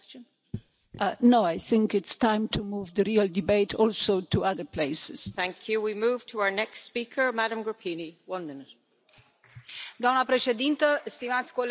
Doamna președintă, stimați colegi, trebuie să recunoaștem că propunerea de a avea o conferință a venit din criza în care se află Uniunea Europeană și trebuie toți să ne facem o analiză.